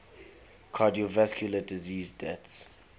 cardiovascular disease deaths